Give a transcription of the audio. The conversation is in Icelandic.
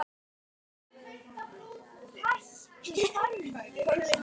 Hrærið skyrinu varlega saman við.